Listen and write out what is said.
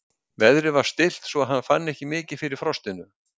Veðrið var stillt svo að hann fann ekki mikið fyrir frostinu.